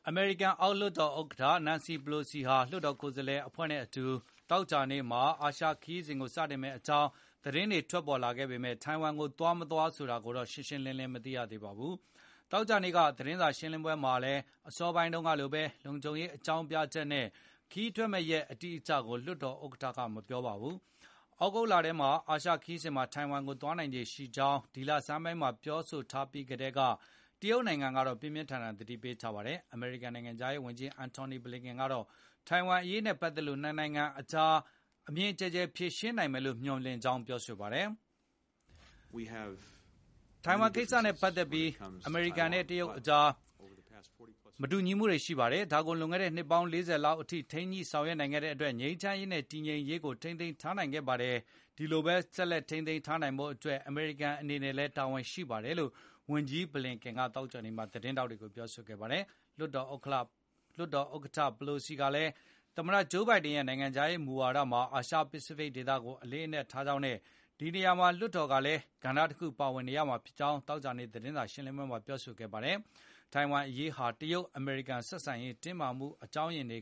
အမေရိကန် အောက်လွှတ်တော်ဥက္ကဋ္ဌ Nancy Pelosi ဟာ လွှတ်တော်ကိုယ်စားလှယ် အဖွဲ့နဲ့အတူ သောကြာနေ့မှာ အာရှခရီးစဉ် စတင်မယ့်အကြောင်း သတင်းတွေ ထွက်ပေါ်လာပေမဲ့ ထိုင်ဝမ်ကို သွား၊မသွား ဆိုတာတော့ ရှင်းရှင်းလင်းလင်း မရှိသေးပါဘူး။ သောကြာနေ့က သတင်းစာ ရှင်းလင်းပွဲမှာလည်း အစောပိုင်းမှာတုန်းကလိုပဲ လုံခြုံရေးအကြောင်းပြချက်နဲ့ ခရီးထွက်မယ့်ရက် အတိအကျကို လွှတ်တော်ဥက္ကဋ္ဌက မပြောပါဘူး။ သြဂုတ်လထဲ အာရှခရီးစဉ်မှာ ထိုင်ဝမ်ကို သွားနိုင်ခြေရှိကြောင်း ဒီလဆန်းမှာ ပြောထားပြီးကတည်းက တရုတ်နိုင်ငံကတော့ ပြင်းပြင်းထန်ထန် သတိပေးထားပါတယ်။ အမေရိကန် နိုင်ငံခြားရေးဝန်ကြီး Antony Blinken ကတော့ ထိုင်ဝမ်အရေးနဲ့ ပတ်သက်လို့ ၂ နိုင်ငံကြား အမြင်ကျယ်ကျယ် ဖြေရှင်းနိုင်ဖို့ မျှော်လင့်ကြောင်း ပြောပါတယ်။ “ထိုင်ဝမ်ကိစ္စနဲ့ပတ်သက်ပြီး အမေရိကန်နဲ့တရုတ်အကြားမတူညီမှုတွေရှိပါတယ်။ ဒါကိုလွန်ခဲ့တဲ့နှစ်ပေါင်း ၄၀ လောက်အထိထိန်းညှိဆောင်ရွက်နိုင်ခဲ့တဲ့အတွက် ငြိမ်းချမ်းရေးနဲ့တည်ငြိမ်ရေးကိုထိန်းသိမ်းထားနိုင်ခဲ့ပါတယ်။ ဒီလိုဘဲဆက်လက်ထိန်း သိမ်းထားနိုင်ဖို့အတွက် အမေရိကန်အနေနဲ့လည်းတာဝန်ရှိပါတယ်။” လို့ ဝန်ကြီး Blinken က သောကြာနေ့မှာ သတင်းထောက်တွေကို ပြောဆိုခဲ့တာပါ။ လွှတ်တော်ဥက္ကဋ္ဌ Pelosi ကလည်း သမ္မတ ဂျိုးဘိုင်ဒင်ရဲ့နိုင်ငံခြားရေးမူဝါဒမှာ အာရှပစ္စဖိတ်ဒေသကိုအလေးအနက်ထားကြောင်းနဲ့ ဒီနေရာမှာ လွှတ်တော်ကလည်း ကဏ္ဍတခုကနေ ပါဝင်ရမှာဖြစ်ကြောင်း သောကြာနေ့သတင်းစာရှင်းလင်းပွဲမှာပြောဆိုပါတယ်။ ထိုင်ဝမ်အရေးဟာ တရုတ်၊ အမေရိကန် ဆက်ဆံရေး တင်းမာမှု အကြောင်းရင်းတွေ